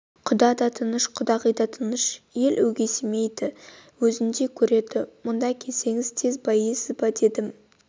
құда да тыныш құдағи да тыныш ел өгейсімейді өзіндей көреді мұнда келсеңіз тез байисыз ба дегенім